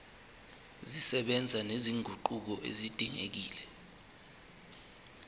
zisebenza nezinguquko ezidingekile